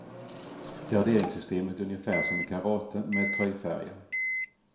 Graderingssystemet ungefär som i karate, med tröjfärger.